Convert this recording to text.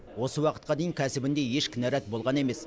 осы уақытқа дейін кәсібінде еш кінарат болған емес